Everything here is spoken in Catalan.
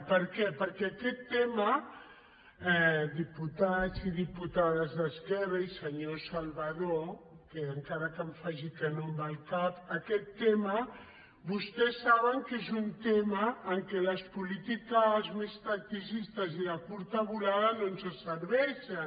per què perquè aquest tema diputats i diputades d’esquerra i senyor salvadó que encara que em faci que no amb el cap vostès saben que és un tema en què les polítiques més tacticistes i de curta volada no ens serveixen